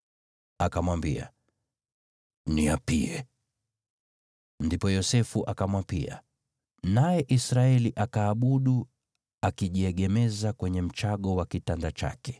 Akamwambia, “Niapie.” Ndipo Yosefu akamwapia, naye Israeli akaabudu, akiwa ameegemea juu ya kichwa cha fimbo yake.